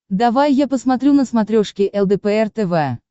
давай я посмотрю на смотрешке лдпр тв